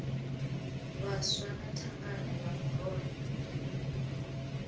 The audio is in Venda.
vhaswa na thangana ya murole